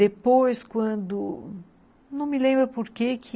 Depois, quando... Não me lembro por que que...